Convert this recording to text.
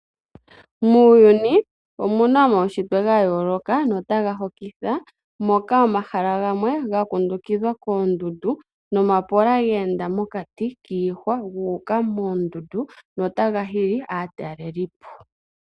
Muuyuni omuna omawushitwe ga yoloka notaga hokitha moka omahala gamwe ga kundukithwa kondundu nomapola ga enda mokati kihwa guka moondundu notaga hili atalelipo.